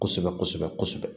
Kosɛbɛ kosɛbɛ kosɛbɛ kosɛbɛ